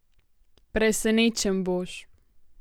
Presenečen boš!